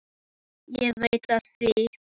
Ég veit að það er fáránlegt að kvarta.